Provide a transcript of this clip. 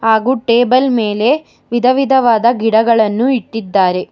ಹಾಗು ಟೇಬಲ್ ಮೇಲೆ ವಿಧವಿಧವಾದ ಗಿಡಗಳನ್ನು ಇಟ್ಟಿದ್ದಾರೆ.